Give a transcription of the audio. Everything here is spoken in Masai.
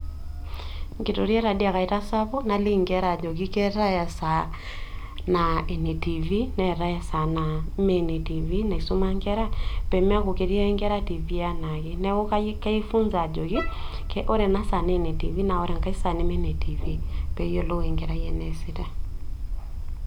Inkitoriak taadii ake aitasapuk najoki inkera keetae esaa etv, netae esaa naa ime ene tv enaisumae pee meeku ketii ake enkera tv enaake, neeku kafundisha ajoki ore enasaa naa ene tv ore ena neme enetiifi.